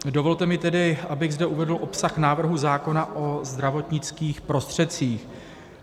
Dovolte mi tedy, abych zde uvedl obsah návrhu zákona o zdravotnických prostředcích.